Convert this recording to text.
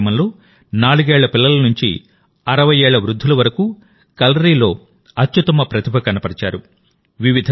ఈ కార్యక్రమంలో నాలుగేళ్ల పిల్లల నుంచి అరవయ్యేళ్ల వృద్ధుల వరకు కలరిలో అత్యుత్తమ ప్రతిభ కనబరిచారు